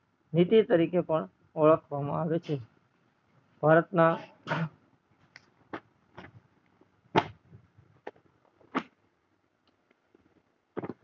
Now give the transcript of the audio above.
નીતિ અરીકે પણ ઓળખવામાં આવે છે ભારત ના